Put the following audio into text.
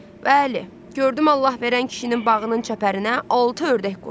Bəli, gördüm Allahverən kişinin bağının çəpərinə altı ördək qonub.